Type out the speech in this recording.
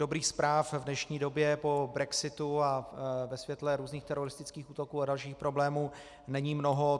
Dobrých zpráv v dnešní době po brexitu a ve světle různých teroristických útoků a dalších problémů není mnoho.